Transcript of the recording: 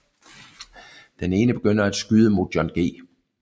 Den ene begynder at skyde mod John G